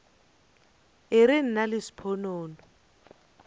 e re nna le sponono